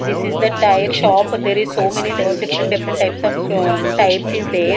this is the tyre shop there is so many ty different different types of so tyres is there.